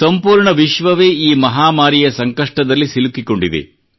ಸಂಪೂರ್ಣ ವಿಶ್ವವೇ ಈ ಮಹಾಮಾರಿಯ ಸಂಕಷ್ಟದಲ್ಲಿ ಸಿಲುಕಿಕೊಂಡಿದೆ